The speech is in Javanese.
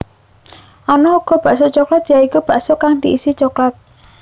Ana uga bakso coklat ya iku bakso kang diisi coklat